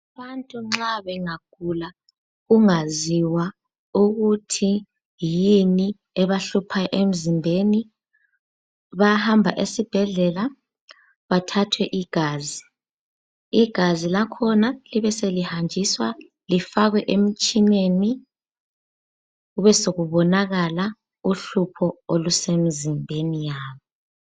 Abantu nxa bengagula kungaziwa ukuthi yini ebahlupha emzimbeni bayahamba esibhedlela bathathwe igazi. Igazi lakhona libeselihanjiswa lifakwe emtshineni kubesokubonakala uhlupho olusemzimbeni yabo.